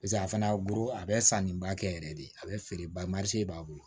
Paseke a fana buru a bɛ san ni ba kɛ yɛrɛ de a bɛ feere ba ma se b'a bolo